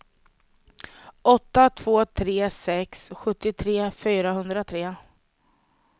åtta två tre sex sjuttiotre fyrahundratre